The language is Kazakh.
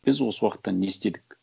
біз осы уақытта не істедік